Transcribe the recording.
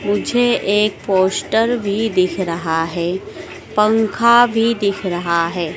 मुझे एक पोस्टर भी दिख रहा है पंखा भी दिख रहा है।